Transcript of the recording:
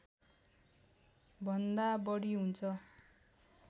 भन्दा बढी हुन्छ